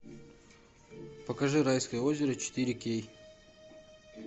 покажи райское озеро четыре кей